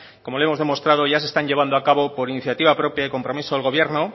como le hemos demostrado ya se están llevando a cabo por iniciativa propia y compromiso al gobierno